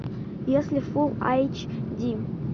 если фул айч ди